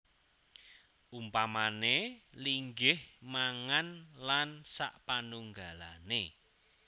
Umpamané linggih mangan lan sapanunggalané